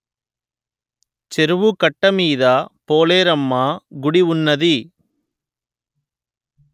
చెరువు కట్ట మీద పోలేరమ్మ గుడి ఉన్నది